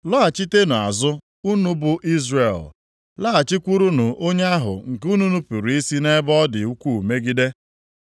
Lọghachitenụ azụ, unu bụ Izrel, laghachikwurunụ onye ahụ nke unu nupuru isi nʼebe ọdị ukwuu megide.